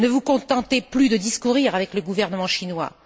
Ne vous contentez plus de discourir avec le gouvernement chinois!